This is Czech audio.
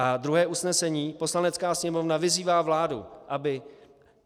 A druhé usnesení: "Poslanecká sněmovna vyzývá vládu, aby